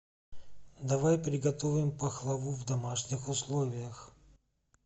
давай приготовим пахлаву в домашних условиях